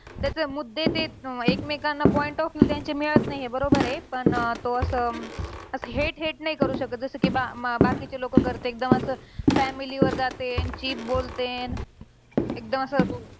त्याचे मुद्दे ते अं एकमेकांना point of view मिळत नाहीये. बरोबर आहे. पण अं तो असं अं hate hate नाही करू शकत. जसं कि बा बाकीचे लोक करते. एकदम असं family वर जाते, cheap बोलतेत. एकदम असं